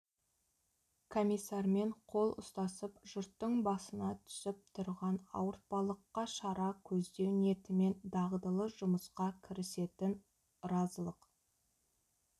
комиссармен қол ұстасып жұрттың басына түсіп тұрған ауыртпалыққа шара көздеу ниетімен дағдылы жұмысқа кірісетін ырзалық